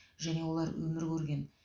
және олар өмір көрген